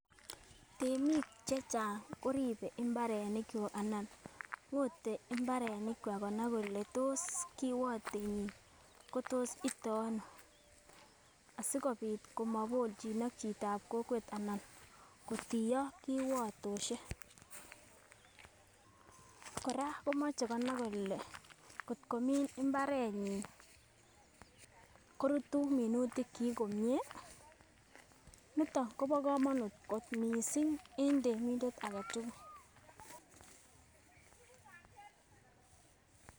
Temik chechang koriben imbarenik kwak anan ngote imbarenik kwa konai kole tos kiwotenyin kotos ite ono asikopit komobokchin ak chitab kokwet ana kotiyo kiwotoshek. Koraa komoche konai kole kotko min imbarenyin korutu minutik chik komie, niton Kobo komonut kot missing en temindet agetukul.